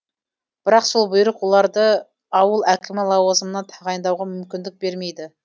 бірақ сол бұйрық оларды ауыл әкімі лауазымына тағайындауға мүмкіндік бермейді